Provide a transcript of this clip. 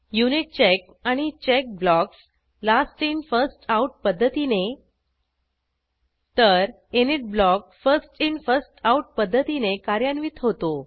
unit check आणि check blocks last in first out पध्दतीने तर init block first in first out पध्दतीने कार्यान्वित होतो